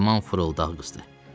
Yaman fırıldaqçı qızdı.